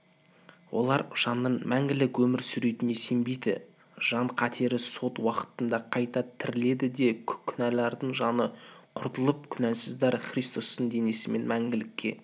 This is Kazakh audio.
олар жанның мәңгілік өмір сүретініне сенбейді жан қатерлі сот уақытында қайта тіріледі де күнәлардың жаны құртылып күнәсіздер христостың денесімен мәңгілікке